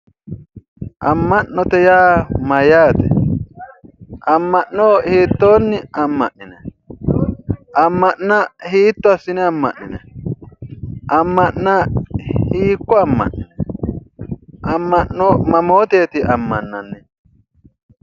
Amma'note yaa mayyaate? amma'no hiittoonni amma'ninayi? Amma'na hiitto assine amma'ninayi? Amma'na hiikko amma'ninayi? Amma'no mamooteeti ammannannihu?